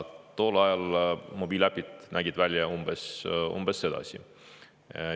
Tol ajal nägid mobiiliäpid välja umbes.